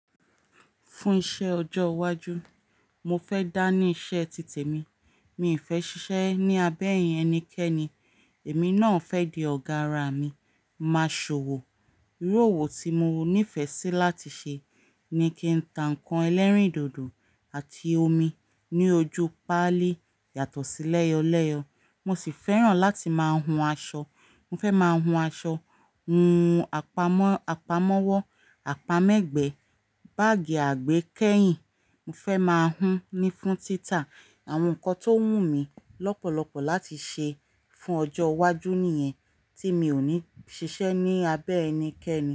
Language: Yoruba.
Fún iṣẹ́ ọjọ́ iwájú, mo fẹ́ dá ní iṣẹ́ títè mi. Mi fẹ́ ṣiṣẹ́ ní abẹ́ ẹni kẹ́ni. Èmi náà fẹ́ di ọ̀gá ara mi. Máa ṣòwò. Irú òwò tí mo nífẹ̀ẹ́ sí láti ṣe ni kí n ta nnkan ẹlẹ́rìndòdò àti omi ní ojú pálí yàtọ̀ sí lẹ́yọ̀lẹ́yọ̀. Mo sì fẹ́ràn láti máa hun aṣọ. Mo fẹ́ máa hun aṣọ, hun àpamọ́, àpamọ́wọ́, àpamọ́ ẹgbẹ́, báàgì àgbékẹ́yìn. Mo fẹ́ máa hun ni fún títà. Àwọn nǹkan tó wù mí lọ́pọ̀lọpọ̀ láti ṣe fún ọjọ́ iwájú nìyẹn tí mi ò ní ṣiṣẹ́ ní abẹ́ ẹni kẹ́ni.